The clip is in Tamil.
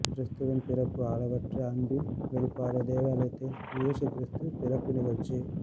கிறிஸ்துவின் பிறப்பு அளவற்ற அன்பின் வெளிப்பாடு தேவாலயத்தில் இயேசு கிறிஸ்து பிறப்பு நிகழ்ச்சி